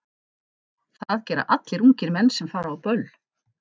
Það gera allir ungir menn sem fara á böll.